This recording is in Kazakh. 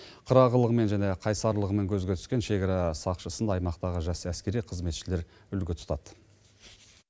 қырағылығымен және қайсарлығымен көзге түскен шекара сақшысын аймақтағы жас әскери қызметшілер үлгі тұтады